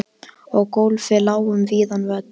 Og gólfið lá um víðan völl.